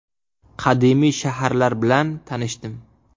Qadimiy shaharlar bilan tanishdim.